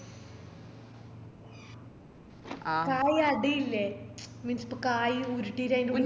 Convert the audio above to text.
കായ് അട ഇല്ലേ means ഇപ്പൊ കായ് ഉരുട്ടിറ്റ് ആയിന്റുള്ളിൽ